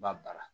Ba baara